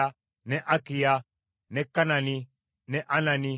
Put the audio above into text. ne Akiya, ne Kanani, ne Anani,